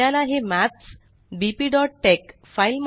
आपल्याला हे maths bpटेक्स